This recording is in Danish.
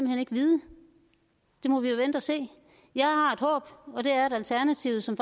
hen ikke vide det må vi jo vente og se jeg har et håb og det er at alternativet som